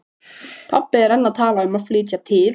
Pabbi er enn að tala um að flytja til